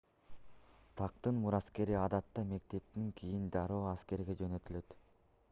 тактын мураскери адатта мектептен кийин дароо аскерге жөнөтүлөт